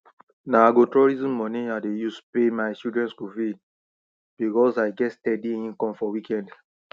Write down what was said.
na agrotourism money i dey use pay my children school fees because i get steady income for weekend